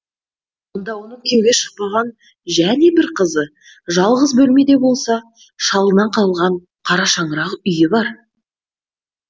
онда оның күйеуге шықпаған және бір қызы жалғыз бөлмеде болса шалынан қалған қара шаңырақ үйі бар